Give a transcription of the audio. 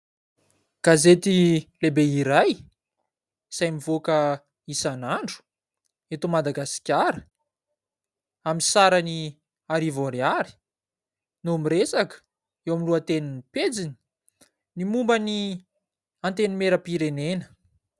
Gazety lehibe iray izay mivoaka isanandro eto Madagasikara amin'ny sarany arivo ariary no miresaka eo amin'ny lohatenin'ny pejiny ny momban'ny antenimiera-pirenena.